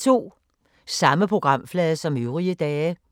Samme programflade som øvrige dage